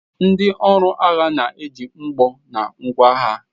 Ndi ọrụ agha na-eji mgbọ na ngwa agha.